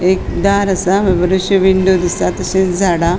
एक दार असा बरेचशे विंडो दिसता तशेच झाड़ा --